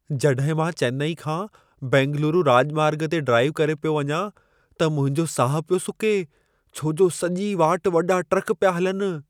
जॾहिं मां चेन्नई खां बेंगलुरु राॼमार्ग ते ड्राइव करे पियो वञा, त मुंहिंजो साहु पियो सुके, छो जो सॼी वाट वॾा ट्रक पिया हलनि।